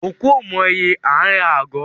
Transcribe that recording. Òkú ò mọ ìye aa ra agọ̀